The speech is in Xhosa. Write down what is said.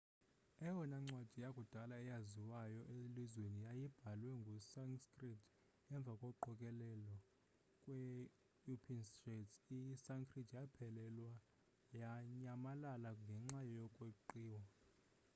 eyona ncwadi yakudala eyaziwayo elizweni yayibhalwe nge-sanskrit emva koqokelelo kwe-upinshads i-sanskrit yaphelelwa yanyamalala ngenxa yokweqiwa